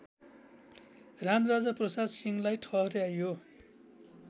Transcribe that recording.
रामराजाप्रसाद सिंहलाई ठहर्‍याइयो